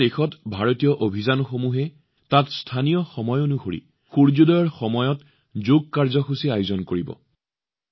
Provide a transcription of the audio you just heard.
বিভিন্ন দেশত ভাৰতীয় অভিযানসমূহে তাত স্থানীয় সময় অনুসৰি সূৰ্য্যোদয়ৰ সময়ত যোগ কাৰ্যসূচী আয়োজন কৰিব